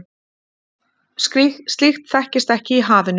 Slíkt þekkist ekki í hafinu.